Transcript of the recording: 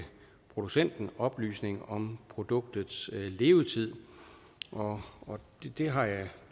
producenten at oplyse om produktets levetid og det har jeg